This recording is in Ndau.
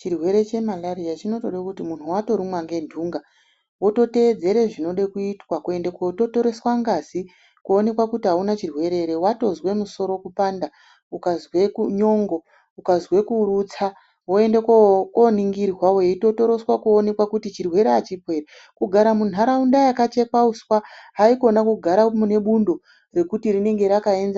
Chirwere chemalariya chinotode kuti mundu watorumwa ngendunga wototeedera zvinode kuitwa kuenda kototoreswa ngazi kuonekwa kuti auna chirwere ere. Ukazwe musoro kupanda ukazwe nyongo, ukazwe kurutsa woenda koningirwa weitotoroswa kuonekwa kuti chirwere achipo ere kugara munharaunda yakchekwa uswa haikona kugara mune bundo mwekuti tinenge rakaenzana....